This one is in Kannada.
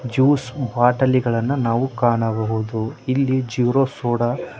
ಜ್ಯೂಸ ಬಾಟಲಿಗಳನ್ನ ನಾವು ಕಾಣಬಹುದು ಇಲ್ಲಿ ಜೀರೋ ಸೋಡಾ --